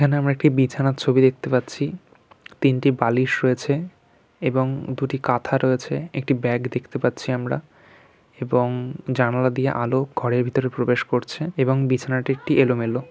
এখানে আমরা একটি বিছানার ছবি দেখতে পাচ্ছি |তিনটি বালিশ রয়েছে এবং দুটি কাঁথা রয়েছে একটি ব্যাগ দেখতে পাচ্ছি আমরা | এবং জানালা দিয়ে আলো ঘরের ভিতরে প্রবেশ করছে এবং বিছানাটি একটি এলোমেলো|